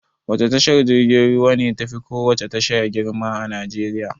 Wace tashar jirgin ruwa ne tafi kowace tasha girma a Najeriya.